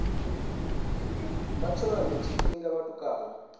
vha tshone tshifhinga tshine vhatukana